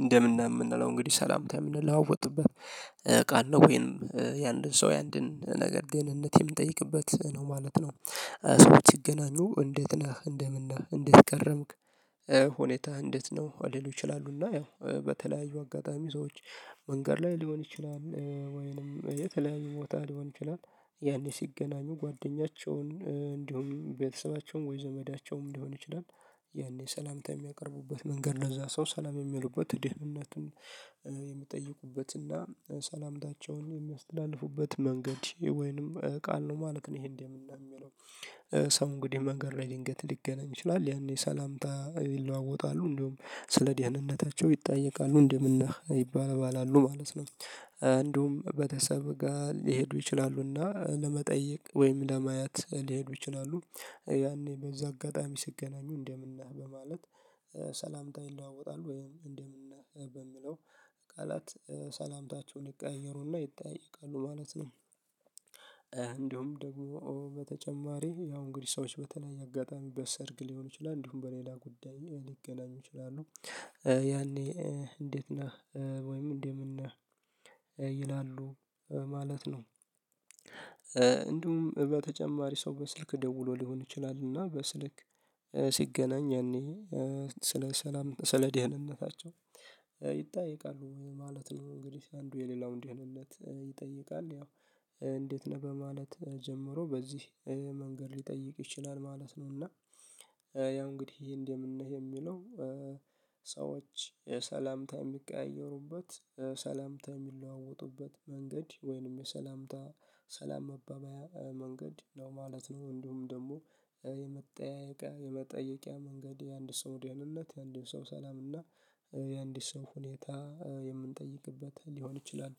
እንደምን እንደምንለው እንግዲህ ሰላምታም እንለው ወጥበት ቃል ነው ወይንም የአንድን ሰው የአንድን ነገር ግን እንዴት የምንጠይቅበት ነው ማለት ነው። ሰዎች ይገናኙ እንዴት ነህ እንደምን ነህ እንዴት ቀረምክ? ሁኔታ እንዴት ነው አልልም ይችላሉና ያው በተለያዩ አጋጣሚ ሰዎች መንገድ ላይ ሊሆን ይችላል ወይንም የተለያዩ ቦታ ሊሆን ይችላል ያኔ ሲገናኙ ጓደኛቸውን እንዲሁም ቤተሰባቸውም ወይ ዘመዳቸውም ሊሆን ይችላል። የኔ ሰላምታ የሚያቀርቡበት መንገድ ለዛ ሰው ሰላም የሚሉበት ድህነትን የሚጠይቁበትና ሰላምታቸውን የሚያስተዳልፉበት መንገድ ወይንም ቃል ነው ማለት ነው። ይሄን የምናየው የሚለው ሰው እንግዲህ መንገድ ላይ ልንገት ሊገናኝ ይችላል ያኔ ሰላምታ ይለዋወጣሉ እንደውም ስለ ድህነንነታቸው ይጠየቃሉ እንደምን ይባል ይባላሉ ማለት ነው። እንዲሁም በተሰበ ጋር ሊሄዱ ይችላሉና ለመጠየቅ ወይም ለማያት ሊሄዱ ይችላሉ። ያኔ በዚህ አጋጣሚ ስገናኙ እንደምንህ በማለት ሰላምታ ይለዋወጣሉ ወይም እንደምንህ በሚለው ቃላት ሰላምታቸውን ይቀየሩና ይጠይቃሉ ማለት ነው። እንዲሁም ደግሞ በተጨማሪ ያው እንግዲህ ሰዎች በተለየ አጋጣሚ በሰርግ ሊሆኑ ይችላሉ እንዲሁም በሌላ ጉዳይ ሊገናኙ ይችላሉ። ያኔ እንዴት ነህ? ወይም እንደምን ነህ? ይላሉ ማለት ነው። እንዲሁም በተጨማሪ ሰው በስልክ ደውሎ ሊሆን ይችላል እና በስልክ ሲገናኝ ያኔ ስለ ሰላም ስለ ደህንነታቸው ይጠይቃሉ ማለት ነው። እንግዲህ አንዱ የሌላው እንዲህ ይሆንለት ይጠይቃል ያው እንዴት ነህ በማለት ጀምሮ በዚህ መንገድ ሊጠይቅ ይችላል ማለት ነው። እና ያ እንግዲህ ይሄ እንዴ ምን ነው? የሚለው ሰዎች የሰላምታ የሚቀያየሩበት ሰላምታ የሚለዋወጡበት መንገድ ወይንም የሰላምታ ሰላም መባበያ መንገድ ነው ማለት ነው እንደውም ደግሞ የመጠያየቂያ የመጠየቂያ መንገድ የአንድ ሰው ደህንነት የአንድ ሰው ሰላም እና የአንድ ሰው ሁኔታ የምንጠይቅበት ሊሆን ይችላል።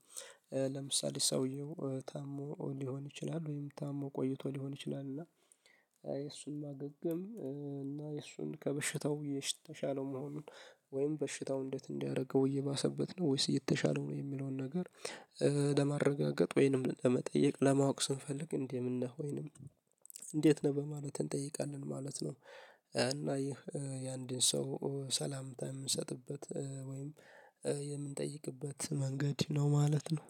ለምሳሌ ሰውየው ታሞ ሊሆን ይችላል ወይም ታሞ ቆይቶ ሊሆን ይችላል እና የእሱን ማገገም እና የእሱን ከበሽታው የተሻለው መሆኑን ወይም በሽታው እንዴት እንዲያደርገው እየባሰበት ነው ወይስ የተሻለው ነው የሚለውን ነገር ለማረጋገጥ ወይንም ለመጠየቅ ለማወቅ ስንፈልግ እንዴ የምንለው ወይንም እንዴት ነው በማለት እንጠይቃለን ማለት ነው። እና ይህ የአንድን ሰው ሰላምታ የምንሰጥበት የምንጠይቅበት መንገድ ነው ማለት ነው።